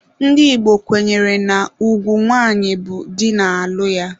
Ndị Igbo kwenyere na ugwu nwanyị bụ di na-alụ ya.